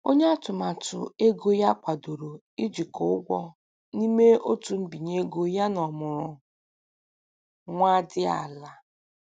Onye atụmatụ ego ya kwadoro ijikọ ụgwọ n'ime otu mbinye ego yana ọmụrụ nwa dị ala.